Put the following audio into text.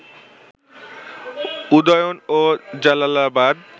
উদয়ন ও জালালাবাদ